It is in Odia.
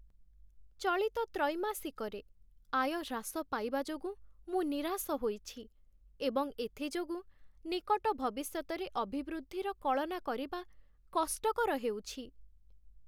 ଚଳିତ ତ୍ରୈମାସିକରେ, ଆୟ ହ୍ରାସ ପାଇବା ଯୋଗୁଁ ମୁଁ ନିରାଶ ହୋଇଛି, ଏବଂ ଏଥିଯୋଗୁଁ ନିକଟ ଭବିଷ୍ୟତରେ ଅଭିବୃଦ୍ଧିର କଳନା କରିବା କଷ୍ଟକର ହେଉଛି।